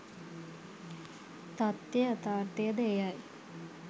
තථ්‍ය යථාර්ථයද එයයි.